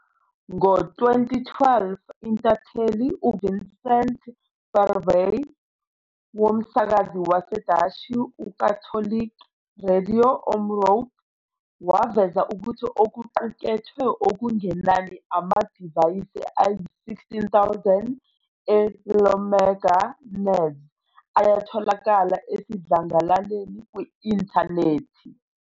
Ngo-2012, intatheli uVincent Verweij womsakazi waseDashi uKatholieke Radio Omroep waveza ukuthi okuqukethwe okungenani amadivayisi ayi-16,000 e-Iomega NAS ayatholakala esidlangalaleni kwi-intanethi.